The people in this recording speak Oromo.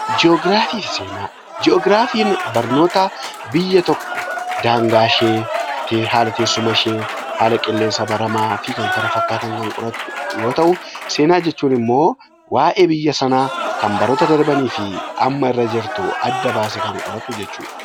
Ji'ograafii fi Seenaa. Ji'ograafiin barnoota biyya tokko daangaa ishee, haala teessuma ishee, haala qilleensa baramaa fi kan kana fakkaatan kan qoratuu yoo ta'u; Seenaa jechuun immoo waa'ee biyya sanaa kan baroota darbanii fi amma irra jirtuu adda baasee kan qoratu jechaa dha.